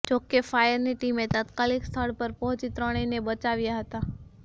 જોકે ફાયરની ટીમે તાત્કાલિક સ્થળ પર પહોંચી ત્રણેયને બચાવ્યા હતા